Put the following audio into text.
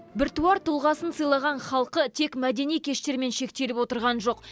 біртуар тұлғасын сыйлаған халқы тек мәдени кештермен шектеліп отырған жоқ